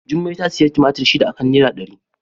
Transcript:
Jummai ta sayi tumatur shida a kan naira dari.